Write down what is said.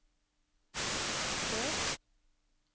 dør